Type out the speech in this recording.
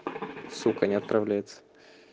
сука не отправляется